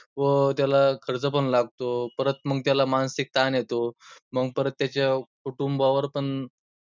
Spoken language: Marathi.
व त्याला खर्च पण लागतो, परत मग त्याला मानसिक ताण येतो, मग परत त्याच्या कुटुंबावर पण